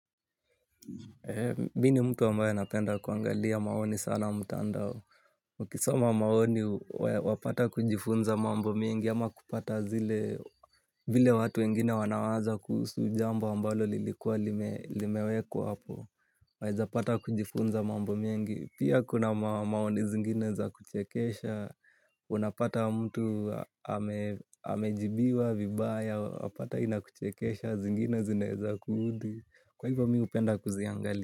Mimi ni mtu ambaye anapenda kuangalia maoni sana mtandao. Ukisoma maoni wapata kujifunza mambo mengi ama kupata vile watu wengine wanawaza kuhusu jambo ambalo lilikuwa limewekwa hapo. Waweza pata kujifunza mambo mengi. Pia kuna maoni zingine za kuchekesha. Unapata mtu amejibiwa vibaya, wapata inakuchekesha, zingine zinaweza kuudhi. Kwa hivyo mimi hupenda kuziangalia.